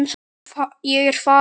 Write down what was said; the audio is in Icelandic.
Ég er farin.